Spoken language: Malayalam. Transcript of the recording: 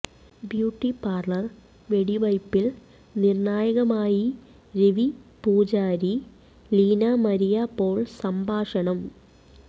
ബ്യൂട്ടി പാർലർ വെടിവയ്പ്പിൽ നിർണായകമായി രവി പൂജാരി ലീന മരിയ പോൾ സംഭാഷണം